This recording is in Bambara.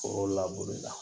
Foro laburu la